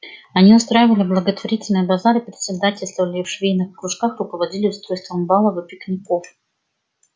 они устраивали благотворительные базары председательствовали в швейных кружках руководили устройством балов и пикников